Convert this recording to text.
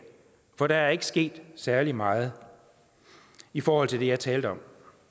for der er ikke sket særlig meget i forhold til det jeg talte om